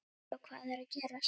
Svo hvað er að gerast?